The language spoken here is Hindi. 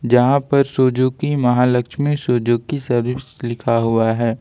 जहां पर सुजुकी महालक्ष्मी सुजुकी सर्विस लिखा हुआ है।